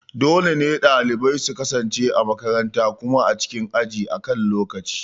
Dole ne dalibai su kasance a makaranta kuma a cikin aji akan lokaci.